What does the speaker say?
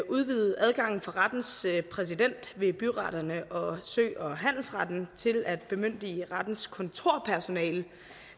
udvide adgangen for rettens præsident ved byretterne og sø og handelsretten til at bemyndige rettens kontorpersonale